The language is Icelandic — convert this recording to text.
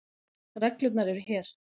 Reglurnar eru hér.